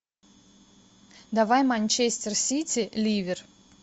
давай манчестер сити ливер